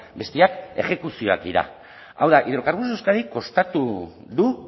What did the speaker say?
besteak exekuzioak dira hau da hidrocarburos de euskadik kostatu du